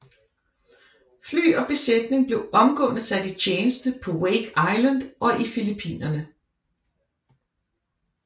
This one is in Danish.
Fly og besætning blev omgående sat i tjeneste på Wake Island og i Filippinerne